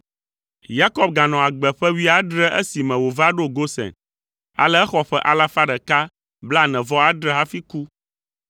Yakob ganɔ agbe ƒe wuiadre esime wòva ɖo Gosen, ale exɔ ƒe alafa ɖeka blaene-vɔ-adre hafi ku.